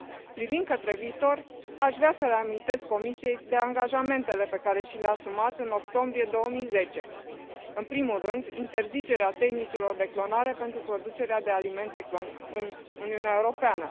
Privind către viitor, aș vrea să reamintesc Comisiei de angajamentele pe care și le a asumat în octombrie 2010, în primul rând interzicerea tehnicilor de clonare pentru producerea de alimente în Uniunea Europeană.